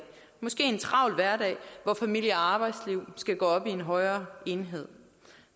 måske en travl hverdag hvor familie og arbejdsliv skal gå op i en højere enhed